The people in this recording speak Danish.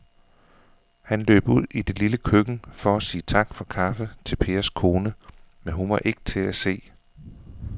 Han løb ud i det lille køkken for at sige tak for kaffe til Pers kone, men hun var ikke til at se.